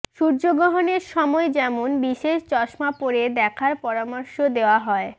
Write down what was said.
সূর্যগ্রহণের সময় যেমন বিশেষ চশমা পরে দেখার পরামর্শ দেওয়া হয়